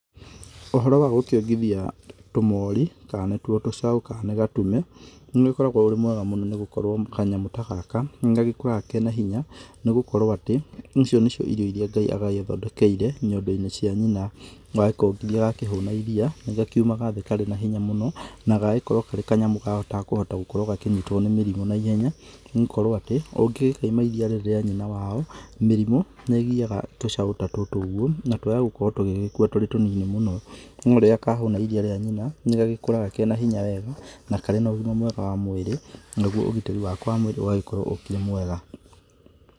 Ũhoro wa gũkiongithia, tũmori, kana nĩtuo tũcaũ, kana nĩ gatume, nĩ ũkoragũo ũrĩ mwega mũno nĩgũkorũo kanyamũ ta gaka, nĩgagĩkũraga kena hinya, nĩgũkorũo atĩ, icio nĩcio irio irĩa ngai agagĩthondekeire, nyondoinĩ cia nyina, yakongithia gakĩhũna iria, gakiumagara thĩ karĩ na hinya mũno, na gagagĩkorũo karĩ kanyamũ gatakũhota gũkorũo gakinyitũo nĩ mĩrimũ naihenya, nĩgũkorũo atĩ, ũngĩkaima iria rĩrĩ rĩa nyina wao, mĩrimũ, nĩgiaga tũcaũ ta tũtũ ũguo, na twaya gũkorũo tũgĩgĩkua tũrĩ tũnini mũno, norĩrĩa kahũna iria rĩa nyina, nĩgagĩkũraga kena hinya wega, na karĩ na ũgima mwega wa mwĩrĩ, naguo ũgitĩri wako wa mwĩrĩ ũgagĩkorũo ũkĩrĩ mwega.